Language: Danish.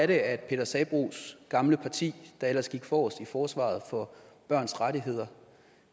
det er at peter sabroes gamle parti der ellers gik forrest i forsvaret for børns rettigheder